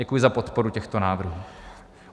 Děkuji za podporu těchto návrhů.